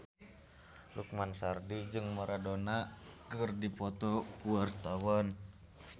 Lukman Sardi jeung Maradona keur dipoto ku wartawan